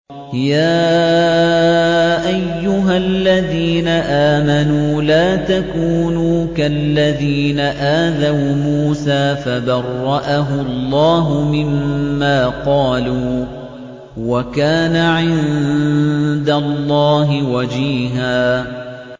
يَا أَيُّهَا الَّذِينَ آمَنُوا لَا تَكُونُوا كَالَّذِينَ آذَوْا مُوسَىٰ فَبَرَّأَهُ اللَّهُ مِمَّا قَالُوا ۚ وَكَانَ عِندَ اللَّهِ وَجِيهًا